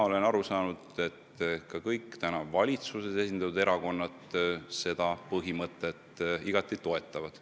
Olen aru saanud, et kõik valitsuses esindatud erakonnad seda põhimõtet igati toetavad.